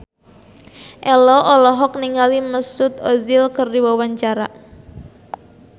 Ello olohok ningali Mesut Ozil keur diwawancara